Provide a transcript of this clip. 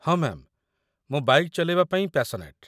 ହଁ, ମ୍ୟାମ୍, ମୁଁ ବାଇକ୍‌ ଚଲେଇବା ପାଇଁ ପ୍ୟାସନେଟ୍ ।